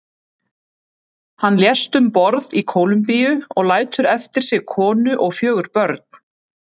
Hann lést um borð í Kólumbíu og lætur eftir sig konu og fjögur börn.